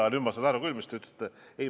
Aga nüüd ma sain aru küll, mida te ütlesite.